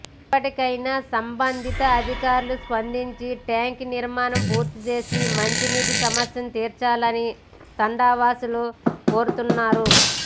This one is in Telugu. ఇప్పటికైనా సంబంధిత అదికారులు స్పందించి ట్యాంకు నిర్మాణం పూర్తి చేసి మంచినీటి సమస్యను తీర్చాలని తండావాసులు కోరుతున్నారు